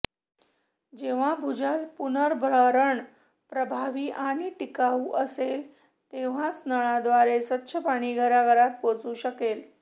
जेव्हा भूजल पुनर्भरण प्रभावी आणि टिकाऊ असेल तेव्हाच नळाद्वारे स्वच्छ पाणी घराघरात पोहोचू शकेल